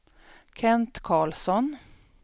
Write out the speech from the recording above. Kent Carlsson